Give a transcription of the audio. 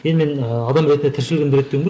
енді мен ыыы адам ретінде тіршілігімді реттеуім керек